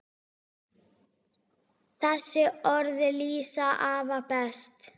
Þessi orð lýsa afa best.